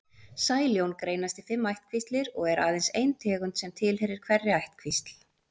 Sæljón greinast í fimm ættkvíslir og er aðeins ein tegund sem tilheyrir hverri ættkvísl.